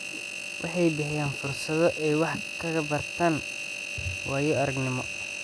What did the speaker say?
Waxay bixiyaan fursado ay wax kaga bartaan waayo-aragnimada.